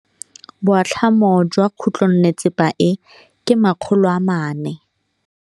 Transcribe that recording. Boatlhamô jwa khutlonnetsepa e, ke 400.